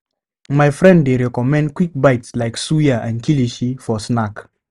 My friend dey recommend quick bites like suya and kilishi for snack.